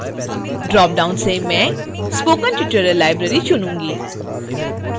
dropdown से मैं spoken tutorial library चुनूँगी